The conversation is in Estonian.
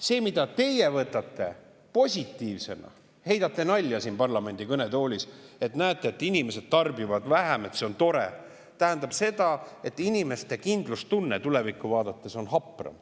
See, mida teie võtate positiivsena – heidate nalja siin parlamendi kõnetoolis, et näete, et inimesed tarbivad vähem, see on tore –, tähendab seda, et inimeste kindlustunne tulevikku vaadates on hapram.